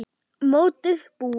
Mótið búið?